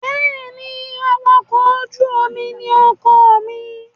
Bẹ́ẹ̀ ni, awakọ̀-ojú-omi ní ọkọ mi.